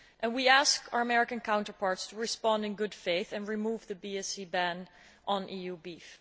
We ask our American counterparts to respond in good faith and remove the BSE ban on EU beef.